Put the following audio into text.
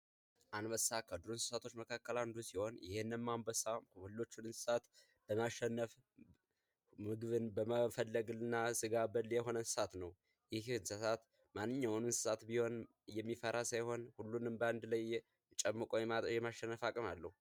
አንበሳ ከዱር እንስሳቶች አንዱ ሲሆን ይህም ሁሉንም አንበሳ ሰብስቦ በማሸነፍ ምግብን በመፈለግ እና ስጋ በል የሆነ እንስሳት ነው ይህም የትኛውንም እንስሳ የሚፈራ ሳይሆን ሁሉንም ጨምቆ በእንድ ላይ ማሸነፍ የሚያስችል አቅም አለው።